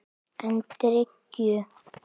En drykkju